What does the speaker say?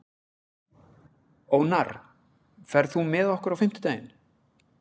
Ónarr, ferð þú með okkur á fimmtudaginn?